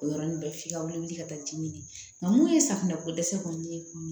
O yɔrɔnin bɛɛ f'i ka wuli wuli ka taa dimi nka mun ye safunɛ ko dɛsɛ kɔni ye